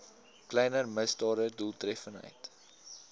kleiner misdade doeltreffend